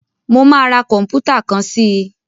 Mo máa ra kọ̀m̀pútà kan sí i.